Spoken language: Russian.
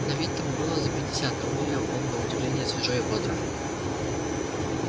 на вид тому было за пятьдесят но выглядел он на удивление свежо и бодро